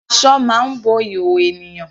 Aṣọ máa ń bo ìhòòhò ènìyàn.